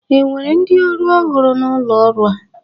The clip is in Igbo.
E nwere ndị ọrụ ọhụrụ n'ụlo ọrụ a?